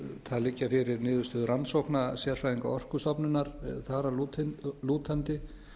það liggja fyrir niðurstöður rannsókna sérfræðinga orkustofnunar þar að lútandi